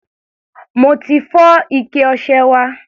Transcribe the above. Mo fi fọ́ ike ọṣẹ wa.